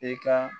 I ka